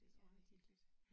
Ja det lidt hyggeligt